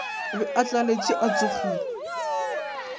be a tlaletšwe a tšhogile